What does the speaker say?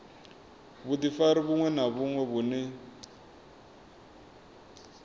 vhudifari vhuṅwe na vhuṅwe vhune